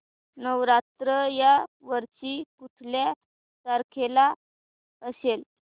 नवरात्र या वर्षी कुठल्या तारखेला असेल